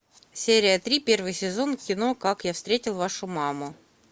серия три первый сезон кино как я встретил вашу маму